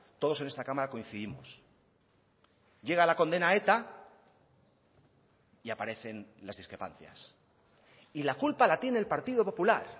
todos en esta cámara coincidimos llega la condena a eta y aparecen las discrepancias y la culpa la tiene el partido popular